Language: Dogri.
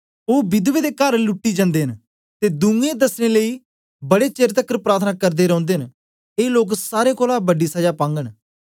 ओ विधवें दे कर लूटी जंदे न ते दूजें दसने लेई बडे चेर तकर प्रार्थना करदे रौंदे न ए लोक सारें कोलां बड़ी सजा पागन